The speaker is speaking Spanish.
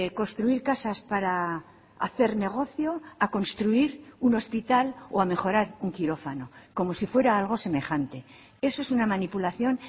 construir casas para hacer negocio a construir un hospital o a mejorar un quirófano como si fuera algo semejante eso es una manipulación